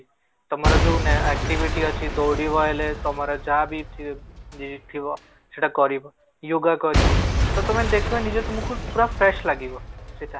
ତମର ଯୋଉ activity ଅଛି ଦୌଡିବା ହେଲେ ତମର ଯାହା ବି କିଛି ଥିବ ସେଟା କରିବ yoga କରିବ ତ ତମେ ଦେଖିବ ନିଜେ ତମକୁ ପୁରା fresh ଲାଗିବ ସେଟା